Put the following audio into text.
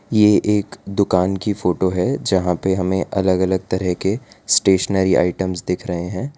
ये एक दुकान की फोटो है जहां पे हमें अलग अलग तरह के स्टेशनरी आइटम्स दिख रहे हैं।